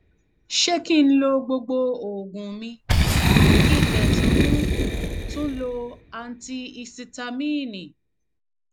ṣé kí n lo gbogbo oògùn mi kí n dẹ tún tún lo antihisitamíìnì